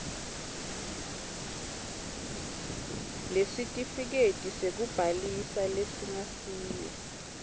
lesitifiketi sekubhalisa lesingasiyo